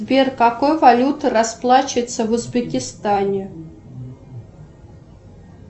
сбер какой валютой расплачиваются в узбекистане